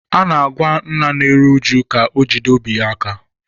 A na-agwa nna na-eru uju ka o jide obi ya aka